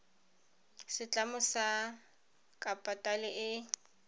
setlamo sa kapitale e e